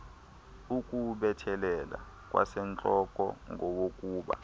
ukuwubethelela kwasentloko ngowokuba